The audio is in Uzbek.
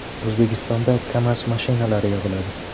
O‘zbekistonda “KAMAZ” mashinalari yig‘iladi.